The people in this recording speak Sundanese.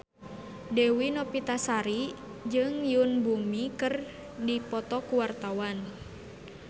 Dewi Novitasari jeung Yoon Bomi keur dipoto ku wartawan